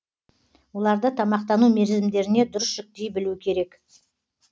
оларды тамақтану мерзімдеріне дұрыс жіктей білу керек